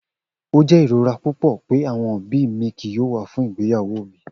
O jẹ irora pupọ pe awọn obi mi kii yoo wa fun igbeyawo mi.